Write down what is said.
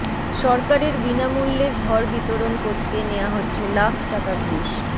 সরকারের বিনামূল্যের ঘর বিতরণ করতে নেয়া হচ্ছে লাখ টাকা ঘুষ